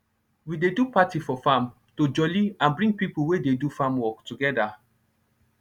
we dey do party for farm to jolly and bring pipo wey dey do farm work togeda